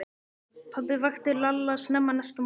Pabbi vakti Lalla snemma næsta morgun.